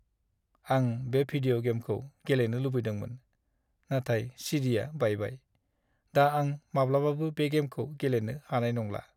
आं बे भिदिय' गेमखौ गेलेनो लुबैदोंमोन, नाथाय चि. डि. आ बायबाय। दा आं माब्लाबाबो बे गेमखौ गेलेनो हानाय नंला।